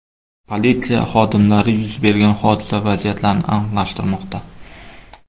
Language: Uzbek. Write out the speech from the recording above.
Politsiya xodimlari yuz bergan hodisa vaziyatlarini aniqlashtirmoqda.